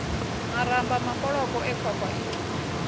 maramba makoloko e khwakhwa ii